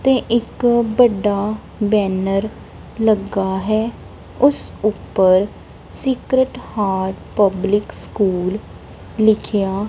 ਤੇ ਇੱਕ ਬੱਡਾ ਬੈਨਰ ਲੱਗਾ ਹੈ ਓਸ ਊਪਰ ਸੀਕ੍ਰੇਟ ਹਾਰਟ ਪਬਲਿਕ ਸਕੂਲ ਲਿੱਖਿਆ।